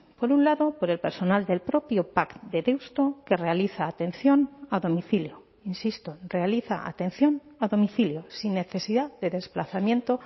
por un lado por el personal del propio pac de deusto que realiza atención a domicilio insisto realiza atención a domicilio sin necesidad de desplazamiento